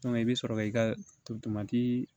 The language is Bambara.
i bɛ sɔrɔ k'i ka tomati